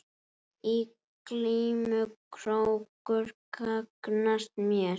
Í glímu krókur gagnast mér.